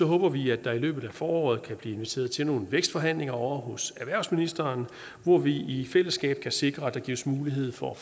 håber vi at der i løbet af foråret kan blive inviteret til nogle vækstforhandlinger ovre hos erhvervsministeren hvor vi i fællesskab kan sikre at der gives mulighed for at